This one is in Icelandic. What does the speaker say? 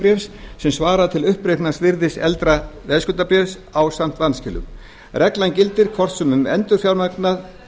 veðskuldabréfs sem svarar til uppreiknaðs virðis eldra veðskuldabréfs ásamt vanskilum reglan gildir hvort sem endurfjármagnað